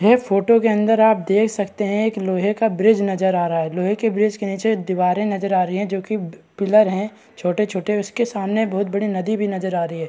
ये फोटो के अंदर आप देख सकते है एक लोहे का ब्रिज नजर आ रहा है लोहे के ब्रिज के नीचे दीवारें नजर आ रही हैं जो की पिलर है छोटे-छोटे उसके सामने बहुत बड़ी नदी भी नजर आ रही है।